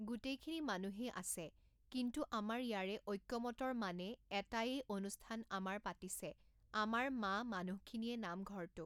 গোটেইখিনি মানুহেই আছে কিন্তু আমাৰ ইয়াৰে ঐক্যমতৰ মানে এটাইয়েই অনুষ্ঠান আমাৰ পাতিছে আমাৰ মা মানুহখিনিয়ে নামঘৰটো